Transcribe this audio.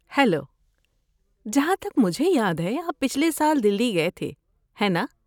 Hello, جہاں تک مجھے یاد ہے آپ پچھلے سال دہلی گئے تھے، ہے نا؟